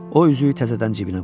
O üzüyü təzədən cibinə qoydu.